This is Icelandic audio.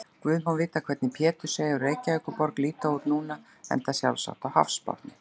Guð má vita hvernig Pétursey og Reykjaborg líta út núna, enda sjálfsagt á hafsbotni.